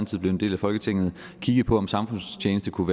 blev en del af folketinget kiggede på om samfundstjeneste kunne